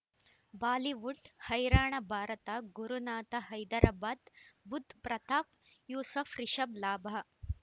Bollywood ಹೈರಾಣ ಭಾರತ ಗುರುನಾಥ ಹೈದರಾಬಾದ್ ಬುಧ್ ಪ್ರತಾಪ್ ಯೂಸುಫ್ ರಿಷಬ್ ಲಾಭ